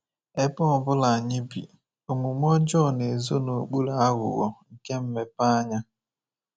Ebe ọ bụla anyị bi, omume ọjọọ na-ezo n’okpuru aghụghọ nke mmepeanya.